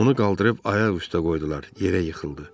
Onu qaldırıb ayaq üstə qoydular, yerə yıxıldı.